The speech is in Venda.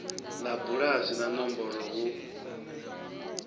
ḽa bulasi na nomboro hu